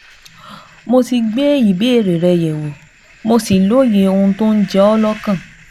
Mo ti gbé ìbéèrè rẹ yẹ̀wò, mo sì lóye ohun tó ń jẹ ọ́ lọ́kàn